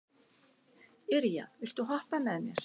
Irja, viltu hoppa með mér?